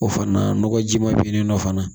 O fana nɔgɔji ma bɛ nin nɔ fana